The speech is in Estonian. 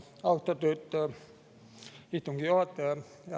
Austatud istungi juhataja!